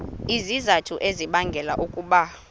izizathu ezibangela ukuba